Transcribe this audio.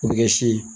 O bɛ kɛ sin ye